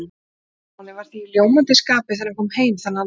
Stjáni var því í ljómandi skapi þegar hann kom heim þennan dag.